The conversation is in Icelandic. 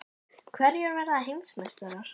Hverjir verða heimsmeistarar?